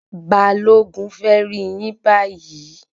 Balogun fẹ rí yín bayi